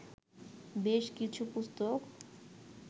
বেশ কিছু পুস্তক